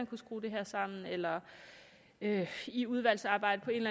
kunne skrue det her sammen eller i udvalgsarbejdet på en